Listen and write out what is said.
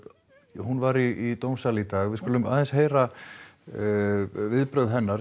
hún var í dómssal í dag við skulum aðeins heyra viðbrögð hennar